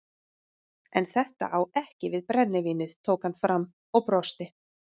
En þetta á ekki við brennivínið tók hann fram og brosti.